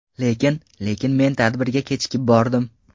Lekin… Lekin men tadbirga kechikib bordim.